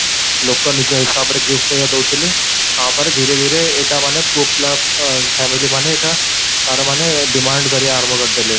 ଲୋକ ନିଜ ହିସାବ ରେ gift ଭଳିଆ ଦଉଥିଲେ ତାପରେ ଧିରଟେ ଧୀରେ ଏଟା ମାନେ ପୁଅ ପିଲା ଅ family ମାନେ ଏଟା ତାର ମାନେ demand କରିବା ଆରମ୍ଭ କରିଦେଲେ